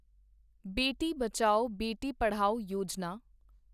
Beti Bachao, Beti Padhao Yojana